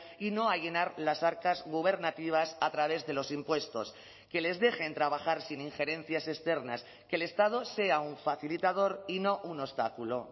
y no a llenar las arcas gubernativas a través de los impuestos que les dejen trabajar sin injerencias externas que el estado sea un facilitador y no un obstáculo